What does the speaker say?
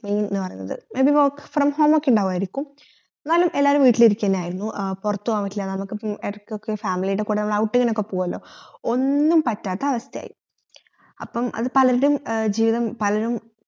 main എന്ന് പറയുന്നത് ഇത് work from home ക്കെ ഇണ്ടായിരിക്കും എന്നാലും എല്ലാരും വീട്ടിലിരിക്കലായിരുന്നു ഏർ പോർത്തുപോകാൻ പറ്റില്ല എന്നൊക്കെ ഇടക്കൊക്കെ family യുടെകൂടെ outing നോക്കെ പൗയല്ലോ ഒന്നും പറ്റാത്ത അവസ്ഥയ്‌യായി അപ്പം അത് പലരുടെ ഏർ ജീവിതം പലരും ഉം എന്ന് പറയുന്നത്